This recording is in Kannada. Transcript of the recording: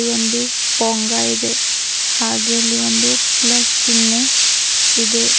ಒಂದು ಪೊಂಗ ಇದೆ ಹಾಗೆ ಇಲ್ಲಿ ಒಂದು ಪ್ಲಸ್ ಚಿಹ್ನೆ ಇದೆ.